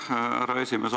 Aitäh, härra esimees!